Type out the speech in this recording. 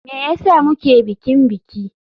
Me yasa muke bikin biki.